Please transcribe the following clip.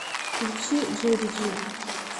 включи джейдиджи